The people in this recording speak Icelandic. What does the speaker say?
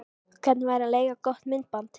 Hvernig væri að leigja gott myndband?